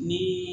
Ni